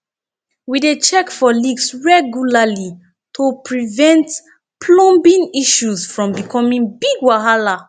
we dey check for leaks regularly to prevent plumbing issues from becoming big wahala